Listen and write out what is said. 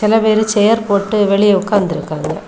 இப்ப வேற சேர் போட்டு வெளிய உக்காந்துருக்காங்க.